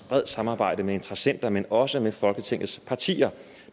bredt samarbejde med interessenter men også med folketingets partier